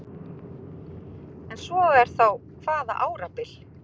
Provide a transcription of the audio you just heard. Ef svo er þá hvaða árabil?